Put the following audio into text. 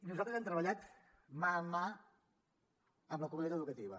nosaltres hem treballat mà a mà amb la comunitat educativa